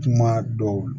Kuma dɔw